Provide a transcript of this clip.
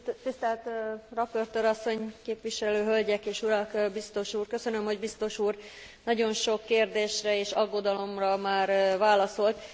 Tisztelt raportőr asszony, képviselő hölgyek és urak, biztos úr! Köszönöm, hogy biztos úr nagyon sok kérdésre és aggodalomra már válaszolt.